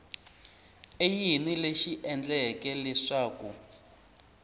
i yini lexi endleke leswaku